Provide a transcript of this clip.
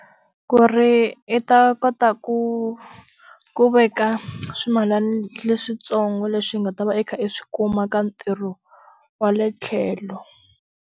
Ku ri i ta kota ku ku veka, swimilani leswintsongo leswi nga ta va i kha i swi kuma ka ntirho wa le tlhelo.